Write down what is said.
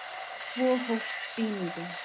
Svo hófst sýningin.